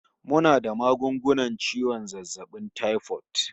Muna da magungunan ciwon zazzabin taifot